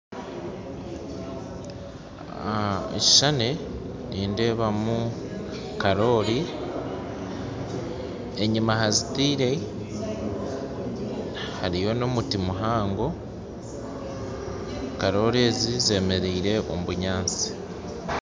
Ekishuushani nindeebamu karori enyima hazitaire hariyo n'omuti muhango, karori ezi z'emeraire omu bunyaasti